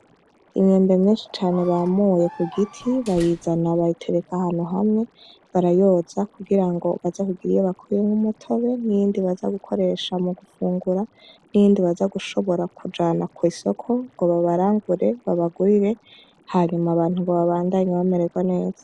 Imyembe myenshi cane bamuye ku giti bayizana bayitereka hanu hamwe barayoza kugira ngo baza kugira iyo bakwiye nk'umutobe n'iyindi baza gukoresha mu gufungura n'iyindi baza gushobora kujana kw'isoko ngo babarangure babagurire hanyuma abantu ngo babandanye bamererwa neza.